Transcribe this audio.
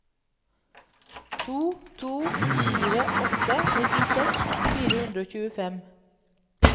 to to fire åtte nittiseks fire hundre og tjuefem